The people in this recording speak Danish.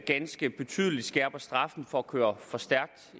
ganske betydeligt skærper straffen for at køre for stærkt